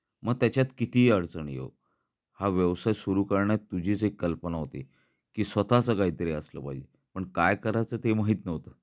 मग त्याच्यात किती ही अडचणी यो, हा व्यवसाय सुरू करण्यात तुझी जी कल्पना होती कि स्वतःच काहीतरी असल पाहिजे, पण काय करायच ते माहीत नव्हत.